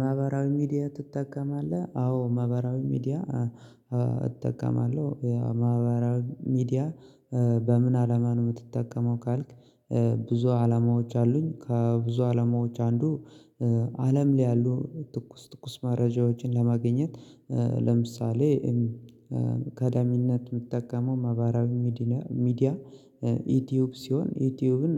ማህበራዊ ሚዲያ ትጠቀማለህ አዎ ማህበራዊ ሚዲያ እጠቀማለሁ ያ ማህበራዊ ሚዲያ በምን አላማ ነው የምትጠቀመው ካልክ? ብዙ አላማዎች አሉኝ ከብዙ አላማዎች አንዱ አለም ላይ ያሉ ትኩስ ትኩስ መረጃዎችን ለማግኘት። ለምሳሌ ቀዳሚነት የምትጠቀመው ማህበራዊ ሚዲያ ዩቲዩብ ሲሆን ዩቲዩብን